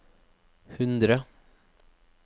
hundre